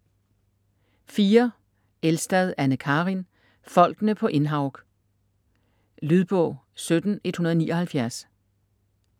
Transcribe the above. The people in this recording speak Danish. Elstad, Anne Karin: Folkene på Innhaug Lydbog 17179